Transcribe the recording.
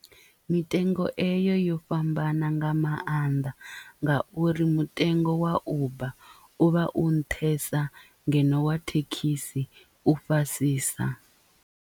Mitengo eyo yo fhambana nga maanḓa nga uri mutengo wa uber u vha u nṱhesa ngeno wa thekhisi u fhasisa.